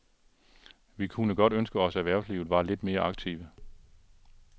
Vi kunne godt ønske os erhvervslivet var lidt mere aktive.